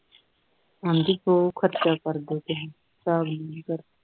ਆਦੀ ਬਹੁਤ ਖਰਚਾ ਕਰਦੇ ਤੁਸੀਂ ਸਾਹਬ ਦੀ ਕਰ